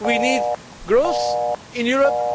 We need growth in Europe.